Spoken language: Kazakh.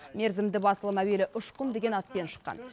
мерзімді басылым әуелі ұшқын деген атпен шыққан